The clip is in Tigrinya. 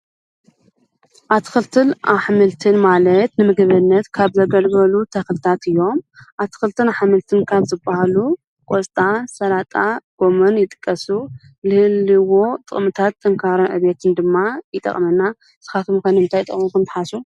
ኣትክልትን ኣሕምልትን ማለት ንምግብነት ካብ ዘገልግሉ ተኽልታት እዮም፡፡ ኣትክልትን ኣሕምልትን ካብ ዝብሃሉ ቖስጣ፣ ሰላጣ ቦምን ይጥቀሱ፡፡ ልህብዎ ጥቕምታት ጥንካረን ዕቤትን ድማ ይጠቕመና፡፡ ንስኻትኩም ከ ንምታይ ይጠቕሙ ኢልኩም ትሓስቡ?